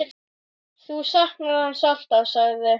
Þú saknar hans alltaf, sagði